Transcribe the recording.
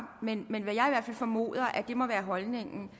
men jeg formoder at det må være holdningen